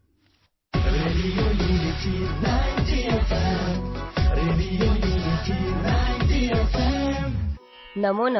radio unity ninety FM